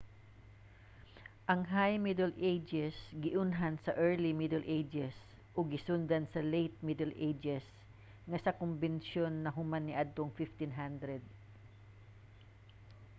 ang high middle ages giunhan sa early middle ages ug gisundan sa late middle ages nga sa kombensyon nahuman niadtong 1500